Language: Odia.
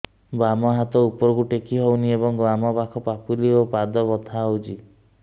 ବାମ ହାତ ଉପରକୁ ଟେକି ହଉନି ଏବଂ ବାମ ପାଖ ପାପୁଲି ଓ ପାଦ ବଥା ହଉଚି